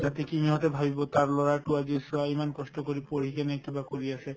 যাতে কি সিহঁতে ভাবিব তাৰ লৰাটো আজি চোৱা ইমান কষ্ট কৰি পঢ়ি কিনে কিবা কৰি আছে